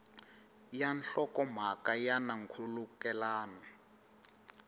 ya nhlokomhaka ya na nkhulukelano